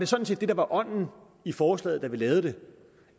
sådan set var ånden i forslaget da vi lavede det